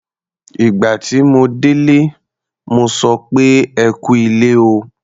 Ìgbà tí mo dé ilé, mo sọ pé "ẹ kú ilé o".